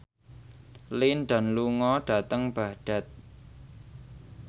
Lin Dan lunga dhateng Baghdad